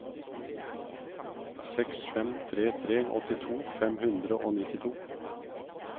seks fem tre tre åttito fem hundre og nittito